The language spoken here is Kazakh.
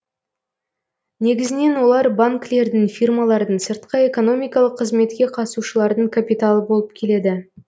негізінен олар банкілердің фирмалардың сыртқы экономикалық қызметке қатысушылардың капиталы болып келеді